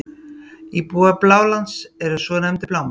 Íbúar Blálands eru svo nefndir Blámenn.